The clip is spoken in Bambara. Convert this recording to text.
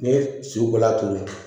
N'i ye sukolan turu